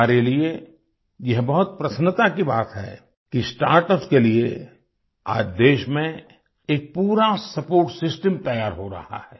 हमारे लिए यह बहुत प्रसन्नता की बात है कि स्टार्टअप के लिए आज देश में एक पूरा सपोर्ट सिस्टम तैयार हो रहा है